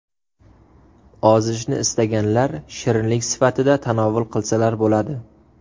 Ozishni istaganlar shirinlik sifatida tanovul qilsalar bo‘ladi.